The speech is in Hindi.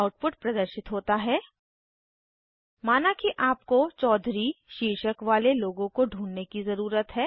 आउटपुट प्रदर्शित होता है माना कि आपको चौधरी चौधरी शीर्षक वाले लोगों को ढूँढने की ज़रुरत है